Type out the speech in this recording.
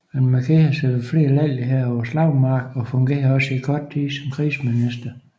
Han markerede sig ved flere lejligheder på slagmarken og fungerede også i kort tid som krigsminister